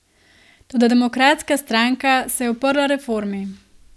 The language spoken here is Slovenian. Toda demokratska stranka se je uprla reformi.